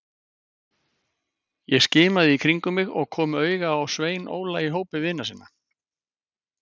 Ég skimaði í kringum mig og kom auga á Svein Óla í hópi vina sinna.